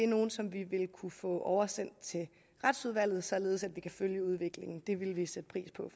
nogle som vi vil kunne få oversendt til retsudvalget således at vi kan følge udviklingen det vil vi sætte pris på